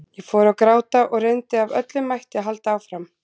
Ég fór að gráta og reyndi af öllum mætti að halda áfram.